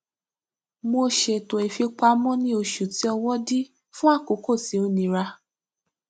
mo ṣètò ìfipamọ ní oṣù tí ọwọ dí fún àkókò tí ó nira